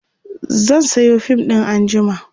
zan Sayo fim ɗin anjima